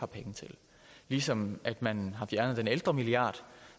penge til ligesom at at man har fjernet den ældremilliard